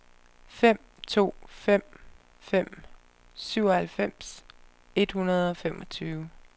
fem to fem fem syvoghalvfems et hundrede og femogtyve